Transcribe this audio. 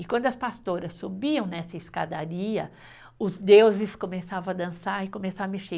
E quando as pastoras subiam nessa escadaria, os deuses começavam a dançar e começar a mexer.